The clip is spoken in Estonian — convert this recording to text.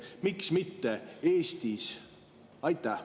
Miks mitte Eestis?